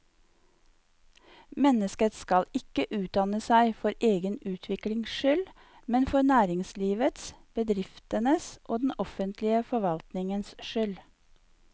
Mennesket skal ikke utdanne seg for egen utviklings skyld, men for næringslivets, bedriftenes og den offentlige forvaltningens skyld.